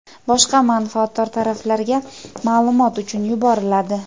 boshqa manfaatdor taraflarga maʼlumot uchun yuboriladi.